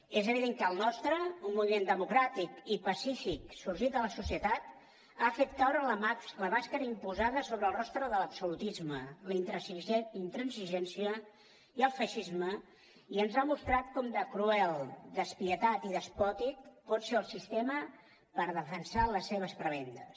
és evident que el nostre un moviment democràtic i pacífic sorgit de la societat ha fet caure la màscara imposada sobre el rostre de l’absolutisme la intransigència i el feixisme i ens ha mostrat com de cruel despietat i despòtic pot ser el sistema per defensar les seves prebendes